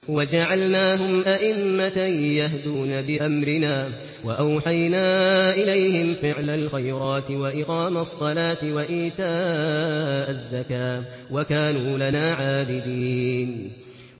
وَجَعَلْنَاهُمْ أَئِمَّةً يَهْدُونَ بِأَمْرِنَا وَأَوْحَيْنَا إِلَيْهِمْ فِعْلَ الْخَيْرَاتِ وَإِقَامَ الصَّلَاةِ وَإِيتَاءَ الزَّكَاةِ ۖ وَكَانُوا لَنَا عَابِدِينَ